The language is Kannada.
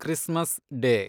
Christmas day